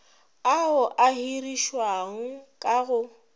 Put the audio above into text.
ao a hirišiwang ka go